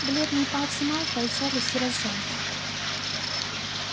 бледные пальцы малфоя сжались и разжались